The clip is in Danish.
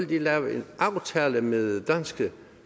blive lavet en aftale med danske